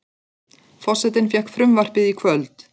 Forsetinn fékk frumvarpið í kvöld